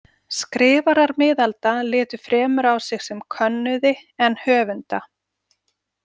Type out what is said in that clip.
Skrifarar miðalda litu fremur á sig sem könnuði en höfunda.